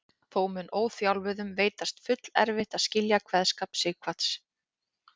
Þó mun óþjálfuðum veitast fullerfitt að skilja kveðskap Sighvats.